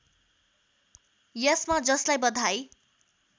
यसमा जसलाई बधाई